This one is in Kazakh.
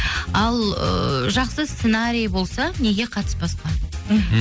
ал ыыы жақсы сценарий болса неге қатыспасқа мхм